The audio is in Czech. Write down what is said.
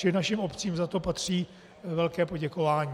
Čili našim obcím za to patří velké poděkování.